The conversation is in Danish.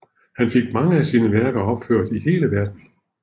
Han fik mange af sine værker opført i hele Verden